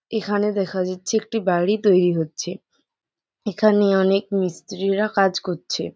এখানে দেখা যাচ্ছে একটি বাড়ি তৈরি হচ্ছে এখানে অনেক মিস্ত্রিরা কাজ করছে।